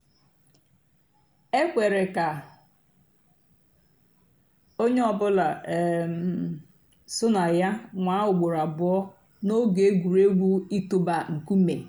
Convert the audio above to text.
é kwèré kà ónyé ọ̀ bụ́là um só nà yà nwáá ùgbòró àbụ́ọ́ n'óge ègwùrégwú ị̀tụ́bà nkúmé.